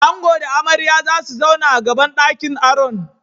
Ango da amarya zasu zauna a gaban ɗakin aron.